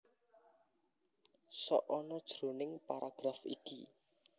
Sok ana jroning paragraf iki